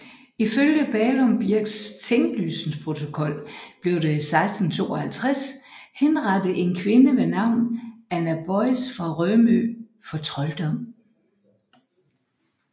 Ifølge Ballum birks tinglysningsprotokol blev der i 1652 henrettet en kvinde ved navn Anna Boyes fra Rømø for trolddom